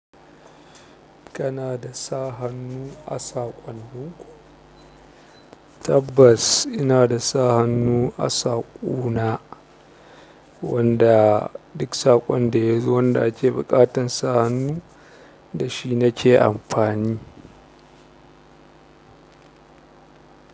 Kana da sa hannu a saƙonnu? Tabbass ina da sa hannu a saku na wanda dik saƙon ɗaya zo wanda ake buƙatan sa hannu da shi nake amfani.